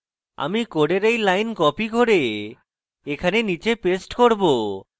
আমি code এই line copy করে এখানে নীচে paste করব